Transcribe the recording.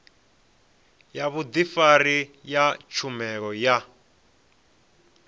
ya vhudifari ya tshumelo ya